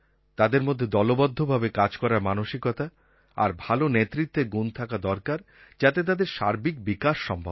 তাদের মধ্যে দলবদ্ধভাবে কাজ করার মানসিকতা আর ভালো নেতৃত্বের গুণ থাকা দরকার যাতে তাদের সার্বিক বিকাশ সম্ভব হয়